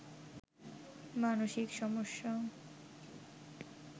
মানসিক সমস্যা